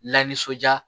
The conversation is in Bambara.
Lanisɔnja